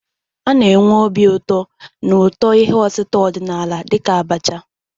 Na-enwe obi ụtọ na ụtọ ihe otita ọdịnala dịka abacha.